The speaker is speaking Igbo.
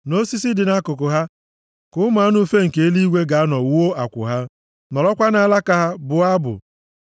Nʼosisi dị nʼakụkụ ha ka ụmụ anụ ufe nke eluigwe ga-anọ wuo akwụ ha; nọrọkwa nʼalaka ha bụọ abụ.